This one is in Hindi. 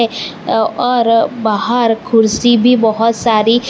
और बाहर कुर्सी भी बहोत सारी--